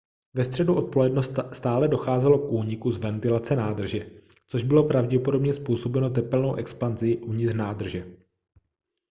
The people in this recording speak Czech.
ve středu odpoledne stále docházelo k úniku z ventilace nádrže což bylo pravděpodobně způsobeno tepelnou expanzí uvnitř nádrže